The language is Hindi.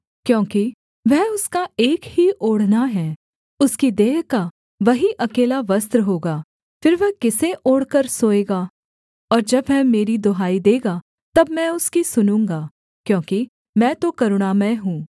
क्योंकि वह उसका एक ही ओढ़ना है उसकी देह का वही अकेला वस्त्र होगा फिर वह किसे ओढ़कर सोएगा और जब वह मेरी दुहाई देगा तब मैं उसकी सुनूँगा क्योंकि मैं तो करुणामय हूँ